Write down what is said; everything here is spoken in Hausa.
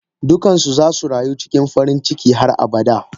Dukansu zasu rayu cikin farinciki har abada.